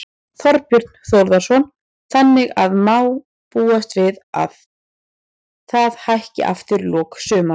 Þorbjörn Þórðarson: Þannig að má búast við að það hækki aftur í lok sumars?